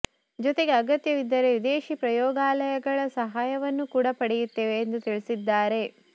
ಜೊತೆಗೆ ಅಗತ್ಯವಿದ್ದರೆ ವಿದೇಶಿ ಪ್ರಯೋಗಾಲಯಗಳ ಸಹಾಯವನ್ನೂ ಕೂಡ ಪಡೆಯುತ್ತೇವೆ ಎಂದು ತಿಳಿಸಿದ್ದಾರೆ